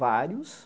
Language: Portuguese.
Vários.